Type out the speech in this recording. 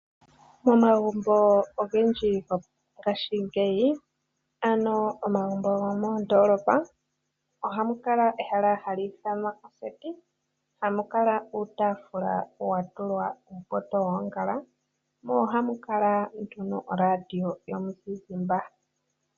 Momagumbo ogendji gongaashingeyi, ano omagumbo gomoondolopa ohamu kala ehala hali ithanwa oseti. Ohamu kala uutaafula wa tulwa uupoto woongala mo ohamu kala nduno oradio yomuzizimba.